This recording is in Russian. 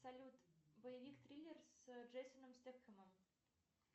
салют боевик триллер с джейсоном стетхемом